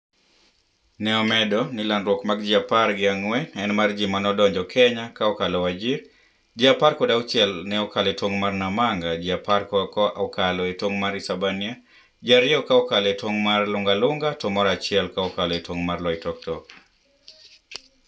ne omedo ni landruok mag ji apar gi ang'wen en mar ji maneodonjo Kenya ka okalo Wajir, ji aper kod auchiel ka okalo e tong' mar Namanga, ji apar ka okalo e tong' mar Isebania, ji ariyo ka okalo e tong' mar lunga lunga to moro achiel ka okalo e tong' mar loitoktok